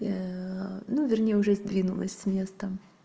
ну вернее уже сдвинулась с места